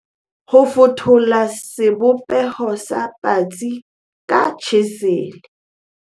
fetola sebopeho sa patsi ka tjhesele